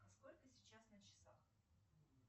сколько сейчас на часах